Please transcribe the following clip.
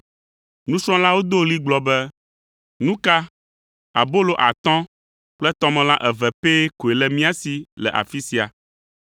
Nusrɔ̃lawo do ɣli gblɔ be, “Nu ka, abolo atɔ̃ kple tɔmelã eve pɛ koe le mía si le afi sia!”